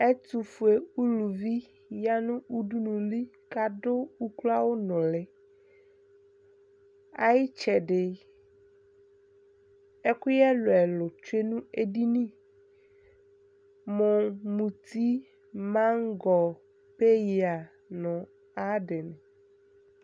ɛtofue uluvi ya no udunu li ko ado uklo awu noli ayitsɛdi ɛkoyɛ ɛlo ɛlo tsue no edini mo muti maŋgɔ peya no ayi adi ni